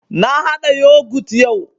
Na haɗa Yogut yau